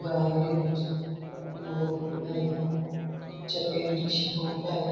ग आहे त्याच्यात खूप सारी मूल बसलेली आहेत त्यांना टीचर काही तरी शिकवताएत.